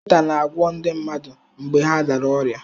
Dọkịta na-agwọ ndi mmadụ mgbe ha dara ọrịa.